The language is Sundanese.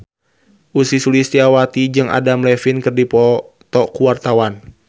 Ussy Sulistyawati jeung Adam Levine keur dipoto ku wartawan